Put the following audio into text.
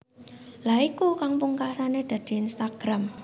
Lha iku kang pungkasane dadi Instagram